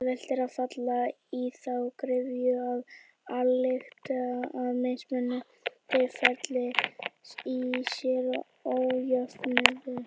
Auðvelt er að falla í þá gryfju að álykta að mismunur feli í sér ójöfnuð.